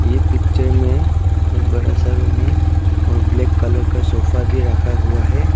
ये पिक्चर में एक बड़ा सा रूम है और ब्लैक कलर का सोफा भी रखा हुआ है।